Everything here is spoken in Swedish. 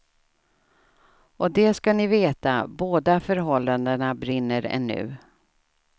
Och det ska ni veta, båda förhållandena brinner ännu.